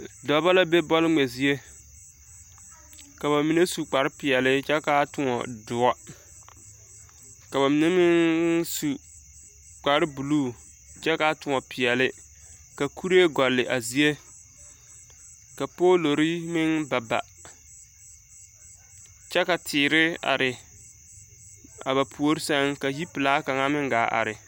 Dɔbɔ la be bɔl-ŋmɛ zie. Ka ba mine su kparepeɛle kyɛ kaa tõɔ doɔ. Ka ba mine meŋŋ su kparebuluu kyɛ kaa tõɔ peɛle. Ka kuree gɔlle a zie. Ka poolori meŋ ba ba. Kyɛ ka teere are, a ba puori sɛŋ ka yipelaa meŋ gaa te are.